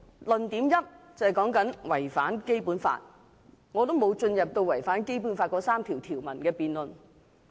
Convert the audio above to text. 論點一是違反《基本法》，我並沒有進入違反《基本法》那3條條文的辯論。